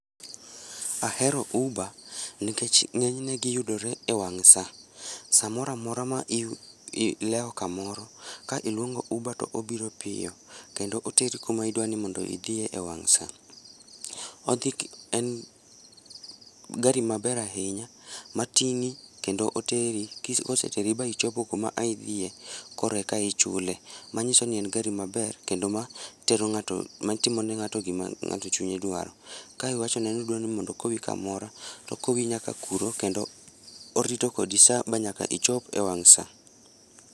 Ahero Uber nikech ng'enyne giyudore e wang' saa. Samoro amora ma ileo kamoro ka iluongo Uber to obiro piyo kendo oteri kuma idwani idhiye e wang' saa. Odhi, en gari maber ahinya matingi kendo oteri, koseteri ma ichopo kuma ne idhiye koreka ichule. Manyisoni en gari maber kendo matero ngato, matimo ne ng'ato gima ng'ato chunye dwaro. Ka iwachone ni idwaro mondo okowi kamoro to okowi nyaka kuro kendo orito kodi saa manyaka ichop e wang' saa